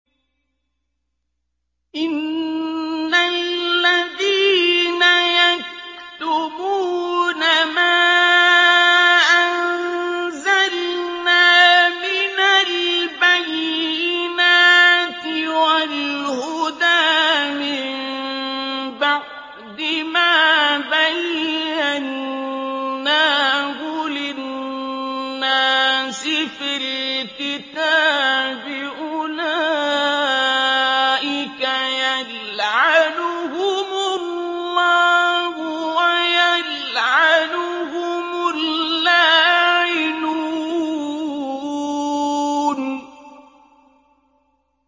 إِنَّ الَّذِينَ يَكْتُمُونَ مَا أَنزَلْنَا مِنَ الْبَيِّنَاتِ وَالْهُدَىٰ مِن بَعْدِ مَا بَيَّنَّاهُ لِلنَّاسِ فِي الْكِتَابِ ۙ أُولَٰئِكَ يَلْعَنُهُمُ اللَّهُ وَيَلْعَنُهُمُ اللَّاعِنُونَ